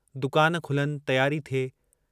दुकान खुलनि, तियारी थिए।